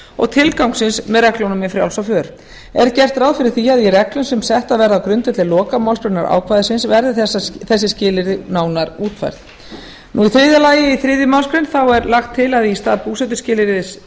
og tilgangsins með reglunum um frjálsa för er gert ráð fyrir því að í reglum sem settar verða á grundvelli lokamálsgreinar ákvæðisins verði þessi skilyrði nánar útfærð þriðji í þriðju málsgrein er lagt til að í stað búsetuskilyrðis